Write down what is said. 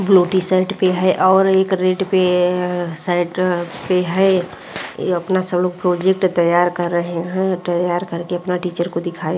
Blue T-shirt पे है और एक रेड पे शर्ट पे है। ये अपना सब लोग प्रोजेक्ट तैयार कर रहे हैं। तैयार करके अपना टीचर को दिखाएं --